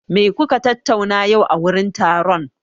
Me kuka tattauna yau a wurin taron?